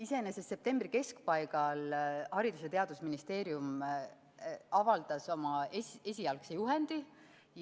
Iseenesest septembri keskpaigas Haridus- ja Teadusministeerium avaldas oma esialgse juhendi.